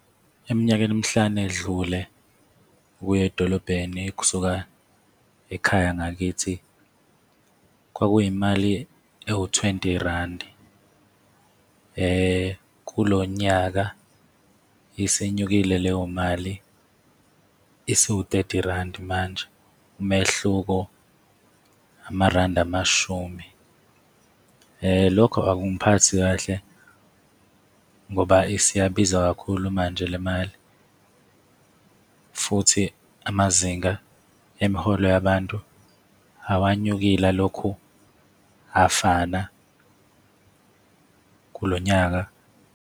Eminyakeni emihlanu edlule ukuya edolobheni kusuka ekhaya ngakithi kwakuyimali ewu-twenty rand. Kulo nyaka isinyukile leyo mali isiwu-thirty rand manje, umehluko amarandi amashumi. Lokho akungiphathi kahle ngoba isiyabiza kakhulu manje le mali, futhi amazinga emiholo yabantu awanyukile, alokhu afana kulo nyaka.